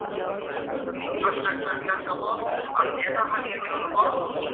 infrustructure বিলাক চাব আৰু এটা ভাগে তেওঁলোকক